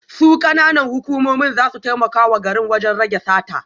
Su kananan hukumomi za su taimaka wa garin wajen rage sata